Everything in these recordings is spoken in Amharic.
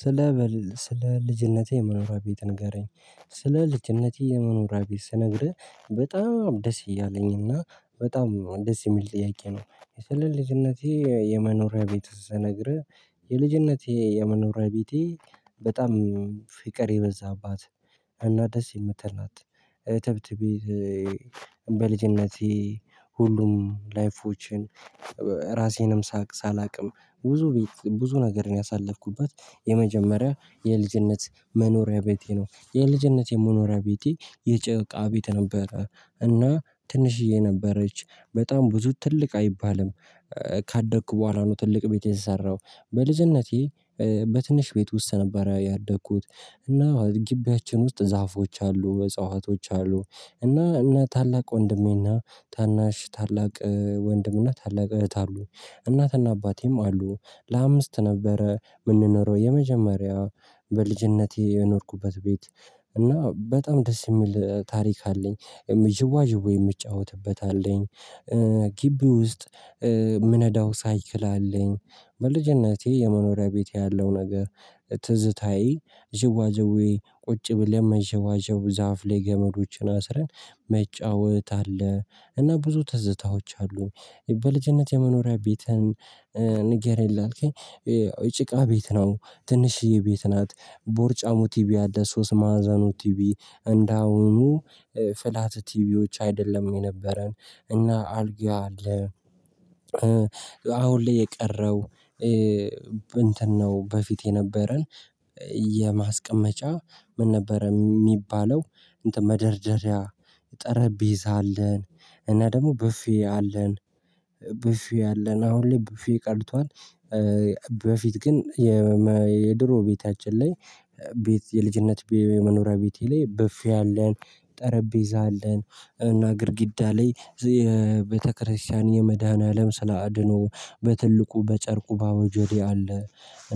ስለ ስለ ልጅነቴ የመኖሪያ ቤት ንገረኝ? ስለ ልጅነቴ የመኖሪያ ቤት ስነግርህ በጣም ደስ እያለኝ እና በጣም ደስ የሚል ጥያቄ ነው። የሰለልጅነቴ የመኖሪያ ቤት ስነግርህ የልጅነቴ የመኖሪያ ቤቴ። በጣም ፍቅር የበዛባት እና ደስ የምትል ናት። ተብት ቤት። በልጅነቴ ሁሉም ላይፎችን ራሴንም ሳቅ ሳላውቅም ብዙ ብዙ ነገር ነው ያሳለፍኩበት። የመጀመሪያ የልጅነት መኖሪያ ቤቴ ነው የልጅነት የመኖሪያ ቤቴ የጭቃ ቤት። እና ትንሽዬ ነበረች በጣም ብዙ ትልቅ አይባልም። ካደግኩ በኋላ ነው ትልቅ ቤት የሰራው በልጅነቴ በትንሽ ቤት ውስጥ ነበር ያደኩት። እና ግቢያችን ውስጥ ዛፎች አሉ እጽዋቶች አሉ። እና ታላቅ ወንድሜና ታናሽ ታላቅ ወንድምና ታላቅ እህት አሉ። እናትና አባቴም አሉ። ለአምስት ነበረ የምንኖረው የመጀመሪያው በልጅነቴ የኖርኩበት ቤት እና በጣም ደስ የሚል ታሪክ አለኝ። ዥዋዥው የምጫወትበት አለኝ። ግቢ ውስጥ የምነዳው ሳይክል አለኝ። በልጅነቴ የመኖሪያ ቤት ያለው ነገር። ትዝታዬ ዥዋዥዌ ቁጭ ብለን መዘዋወር ዛፍ ላይ ገመዶችን አስረን መጫወት አለ። እና ብዙ ትዝታዎች አሉ። በልጅነት የመኖሪያ ቤትን ንገረኝ አልከኝ ጭቃ ቤት ነው ትንሽዬ ቤት ናት ቦርጫሙ ቲቪ ያለ ሶስት ማዕዘኑ ቲቪ እንዳሁኑ ፍላት ቲቪዎች አይደለም የነበረን እና አልጋ አለ። አሁን ላይ የቀረው። እንትን ነው በፊት የነበረን። የማስቀመጫ ምን ነበረ የሚባለው እንትን መደርደሪያ ጠረጴዛ አለን። እና ደግሞ ቡፌ አለን። ቡፌ አለን አሁን ላይ ቡፌ ቀርቷል። በፊት ግን የድሮ ቤታችን ላይ ቤት የልጅነት የመኖሪያ ቤቴ ላይ ብፌ አለን። ጠረጴዛ አለን እና ግድጋዳ ላይ የቤተክርስቲያን የመድኃኒዓለም ስላድኖ በትልቁ በጨርቁ ባቦዠዴ አለ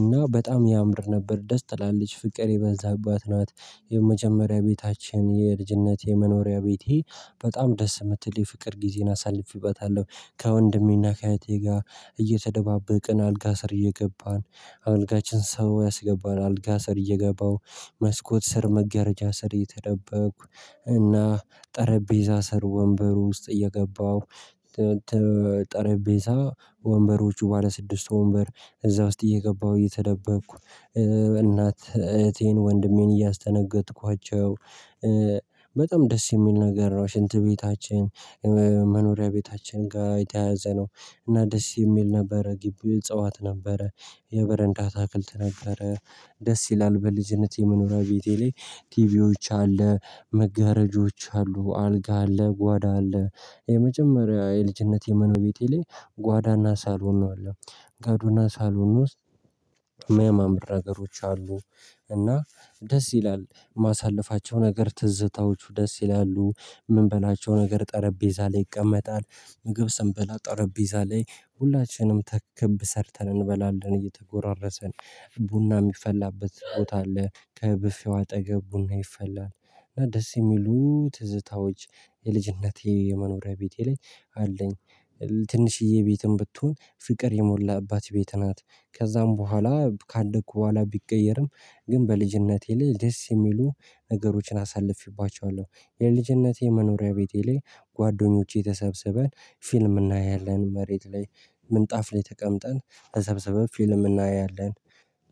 እና በጣም ያምር ነበር ደስ ትላለች ፍቅር የበዛባት ናት። የመጀመሪያ ቤታችን የልጅነት የመኖሪያ ቤት ይሄ በጣም ደስ የምትል የፍቅር ጊዜን አሳልፍበታለሁ። ከወንድሜና ከእህቴ ጋር እየተደባበቅን አልጋ ስር እየገባን አልጋችን ሰው ያስገባል አልጋ ስር እየገባው መስኮት ስር መጋረጃ ስር እየተደበቅኩ እና ጠረጴዛ ስር ወንበር ውስጥ እየገባሁ። ጠረጴዛ ወንበሮቹ ባለ ስድስት ወንበር እዛ ውስጥ እየገባሁ እየተደበቅኩ። እናት እህቴን ወንድሜን እያስደነገጥኳቸው። በጣም ደስ የሚል ነገር ነው ሽንት ቤታችን። መኖሪያ ቤታችን ጋር የተያዘ ነው። እና ደስ የሚል ነበረ ግቢ እጽዋት ነበረ። የበረንዳ አታክልት ነበረ። ደስ ይላል በልጅነት የመኖሪያ ቤቴ ላይ ቲቪዎች አለ መጋረጃዎች አሉ አልጋ አለ ጓዳ አለ። የመጀመሪያ የልጅነት የመኖሪያ ቤቴ ላይ ጓዳና ሳሎኖ አለ። ጓዳና ሳሎን ውስጥ መመራገሮች አሉ። እና ደስ ይላል ማሳለፋቸው ነገር ትዝታዎቹ ደስ ይላሉ። የምንበላቸው ነገር ጠረጴዛ ላይ ይቀመጣል ምግብ ሰንበላ ጠረጴዛ ላይ ሁላችንም ተክብ ሰርተን እንበላለን እየተጎራረሰን። ቡና የሚፈላበት ቦታ አለ ከብፌው አጠገብ ቡና ይፈላል። እና ደስ የሚሉ ትዝታዎች የልጅነቴ የመኖሪያ ቤት ላይ አለኝ። ትንሽዬ ቤትም ብትሆን ፍቅር የሞላባት ቤት ናት። ከዛም በኋላ ካደኩ በኋላ ቢቀየርም ግን በልጅነቴ ላይ ደስ የሚሉ ነገሮችን አሳልፌባቸዋለሁ። የልጅነቴ መኖሪያ ቤቴ ላይ ጓደኞቼ ተሰብስበን ፊልም እናያለን መሬት ላይ ምንጣፍ ላይ ተቀምጠን ተሰብስበን ፊልም እናያለን።